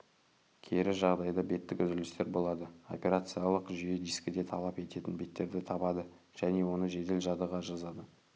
кері жағдайда беттік үзілістер болады операциялық жүйе дискіде талап ететін беттерді табады және оны жедел жадыға жазады